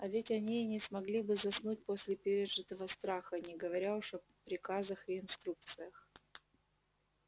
а ведь они и не смогли бы заснуть после пережитого страха не говоря уж о приказах и инструкциях